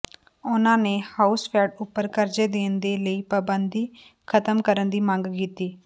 ਉਨ੍ਹਾਂ ਨੇ ਹਾਊਸਫੈੱਡ ਉਪਰ ਕਰਜ਼ੇ ਦੇਣ ਦੀ ਲਾਈ ਪਾਬੰਦੀ ਖਤਮ ਕਰਨ ਦੀ ਮੰਗ ਕੀਤੀ